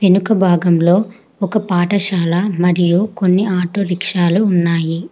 వెనుక భాగంలో ఒక పాఠశాల మరియు కొన్ని ఆటో రిక్షాలు ఉన్నాయి.